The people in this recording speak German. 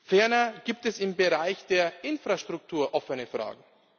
Ferner gibt es im Bereich der Infrastruktur offene Fragen.